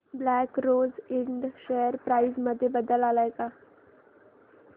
black Rose Ind share price मध्ये बदल आलाय का